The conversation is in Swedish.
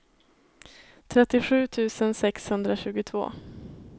trettiosju tusen sexhundratjugotvå